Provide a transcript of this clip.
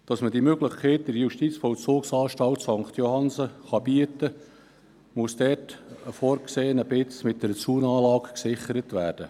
Damit man diese Möglichkeit in der JVA St. Johannsen bieten kann, muss ein dafür vorgesehenes Stück Land mit einer Zaunanlage gesichert werden.